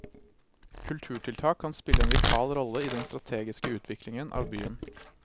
Kulturtiltak kan spille en vital rolle i den strategiske utviklingen av byen.